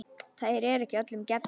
Þeir eru ekki öllum gefnir.